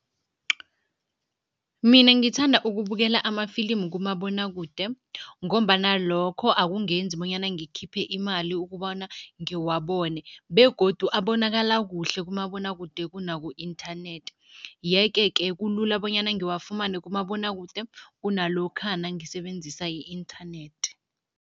Mina ngithanda ukubukela amafilimu kumabonwakude ngombana lokho akungenzi bonyana ngikhiphe imali ukubona ngiwabone begodu abonakala kuhle kumabonwakude kunaku-inthanethi yeke-ke kulula bonyana ngiwafumane kumabonwakude kunalokha nangisebenzisa i-inthanethi.